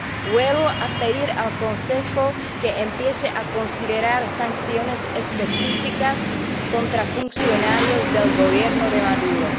Vuelvo a pedir al Consejo que empiece a considerar sanciones específicas contra funcionarios del Gobierno de Maduro.